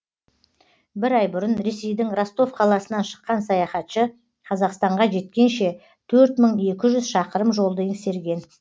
бір ай бұрын ресейдің ростов қаласынан шыққан саяхатшы қазақстанға жеткенше төрт мың екі жүз шақырым жолды еңсерген